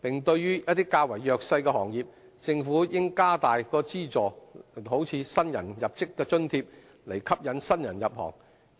對於較弱勢的行業，政府應加大資助，例如新入職津貼，以吸引新人入行。